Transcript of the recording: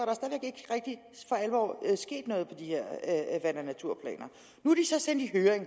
og alvor sket noget de her vand og naturplaner nu er de så sendt i høring